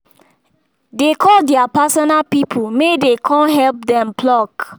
dey call their personal people may den con help dem pluck